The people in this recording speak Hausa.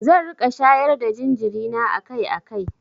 Zan riƙa shayar da jinjiri na akai-akai.